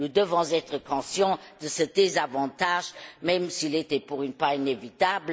Nous devons être conscients de ce désavantage, même s'il était pour une fois inévitable.